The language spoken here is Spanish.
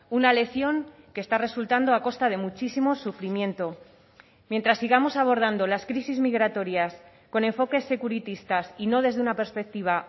una lección que está resultando a costa de muchísimo sufrimiento mientras sigamos abordando las crisis migratorias con enfoques seguritistas y no desde una perspectiva